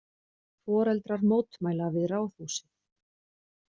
Foreldrar mótmæla við Ráðhúsið